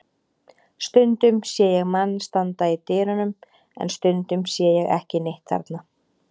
Stundum sé ég mann standa í dyrunum en stundum sé ég ekki neitt þarna.